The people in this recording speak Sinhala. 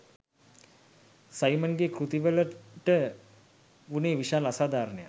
සයිමන්ගේ කෘතිවලට වුනේ විශාල අසාධාරණයක්